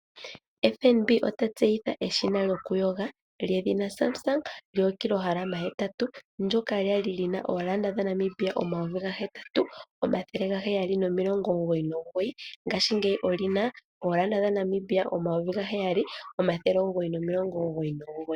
FNB otatseyitha eshina lyokuyonga ndyoka lyedhina Samsung lyoKillogram 8, ndyoka lyali lina N$8799 ngashingeyi olyina N$7999.